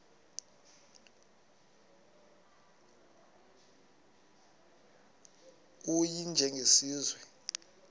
u y njengesiwezi